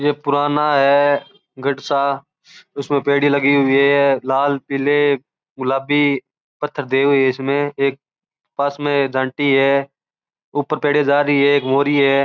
ये पुराना है गढ़ सा इसमें पेड़ी लगी हुई है लाल पीले गुलाबी पत्थर देव है इसमें एक पास में जांटी है ऊपर पेढ़ी जा रहे है मोरी है।